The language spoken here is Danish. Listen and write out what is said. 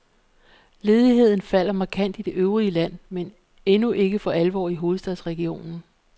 Ledigheden falder markant i det øvrige land, men endnu ikke for alvor i hovedstadsregionen.